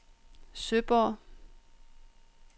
Søborg